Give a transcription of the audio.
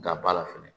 Gaba la fɛnɛ